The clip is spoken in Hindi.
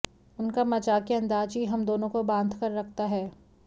उनका मजाकिया अंदाज ही हम दोनों को बांधकर रखता है